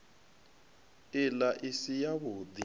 ila i si yavhud i